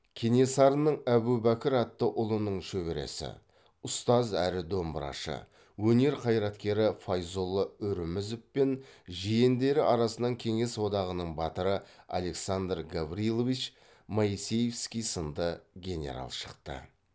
кенесарының әбубәкір атты ұлының шөбересі ұстаз әрі домбырашы өнер қайраткері файзолла үрімізов пен жиендері арасынан кеңес одағының батыры александр гаврилович моисеевский сынды генерал шықты